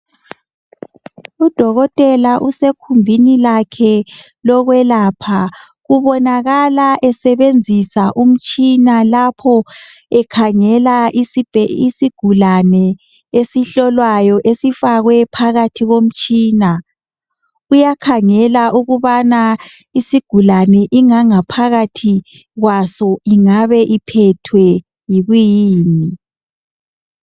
Udokotela usekhumbini lakhe lokwelapha. Ubonakala esebenzisa umtshina, lapho, ekhangela isibhe, isigulane esihlolwayo, esifakwe phakathi komtshina, Uyakhangela ukubana isigulane ingangaphakathi kwaso ingabe iphethwe yikuyini.